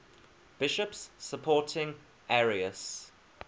bishops supporting arius